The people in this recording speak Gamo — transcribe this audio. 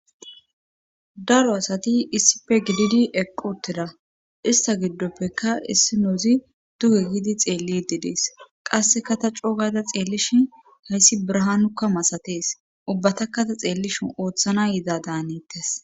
daro asati issife gididi eqqutteda ista giddoppekka issi noozi duhe giidi xeelli dedees qasseka ta coogada xeellishin hayssi brahanukka masatees ubbatakkata xeellishin ooththana yiza daanettes